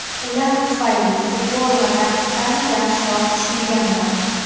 Ular tufayli futbol va taktikani yaxshiroq tushunganman”.